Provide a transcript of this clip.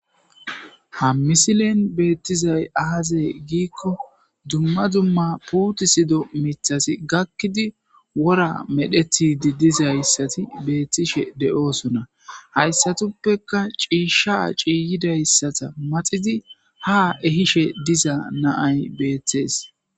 ha misilen beettizay aazey giikko dumma dumma puuti sido mithasi gakkidi wora medhetidi dizayssati beettishe de7oosona hayssatuppeka ciisha ciiyidayssata maxidi ha ehishe diza naay beetthees